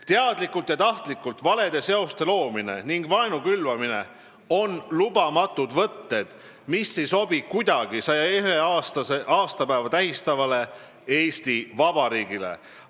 Teadlikult ja tahtlikult valede seoste loomine ning vaenu külvamine on lubamatud võtted, mis ei sobi kuidagi 101. aastapäeva tähistavale Eesti Vabariigile.